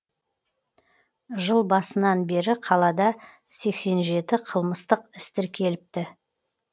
жыл басынан бері қалада сексен жеті қылмыстық іс тіркеліпті